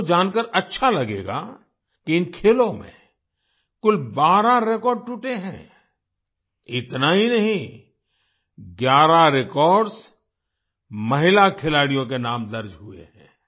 आपको जानकर अच्छा लगेगा कि इन खेलों में कुल 12 रेकॉर्ड टूटे हैं इतना ही नहीं 11 रेकॉर्ड्स महिला खिलाड़ियों के नाम दर्ज हुए हैं